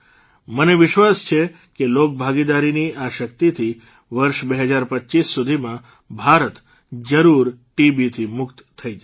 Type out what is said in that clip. મને વિશ્વાસ છે કે લોકભાગીદારીની આ શક્તિથી વર્ષ ૨૦૨૫ સુધીમાં ભારત જરૂર ટીબીથી મુક્ત થઇ જશે